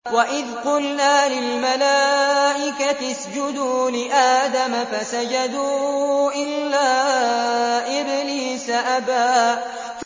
وَإِذْ قُلْنَا لِلْمَلَائِكَةِ اسْجُدُوا لِآدَمَ فَسَجَدُوا إِلَّا إِبْلِيسَ أَبَىٰ